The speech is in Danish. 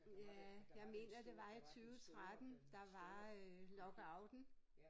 Ja jeg mener det var i 20 13 der var øh lockouten